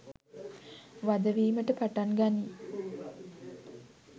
වධ වීමට පටන් ගනියි.